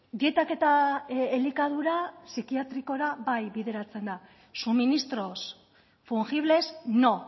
dietak eta elikadura psikiatrikora bai bideratzen da suministros fungibles no